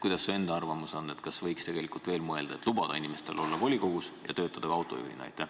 Kuidas su enda arvamus on, kas võiks tegelikult veel mõelda, et lubada inimesel olla volikogus ja töötada ka autojuhina?